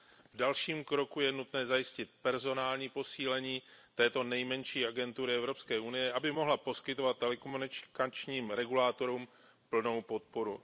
V dalším kroku je nutné zajistit personální posílení této nejmenší agentury Evropské unie, aby mohla poskytovat telekomunikačním regulátorům plnou podporu.